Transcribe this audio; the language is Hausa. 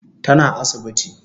Tana asibiti